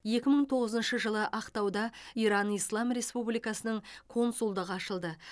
екі мың тоғызыншы жылы ақтауда иран ислам республикасының консулдығы ашылды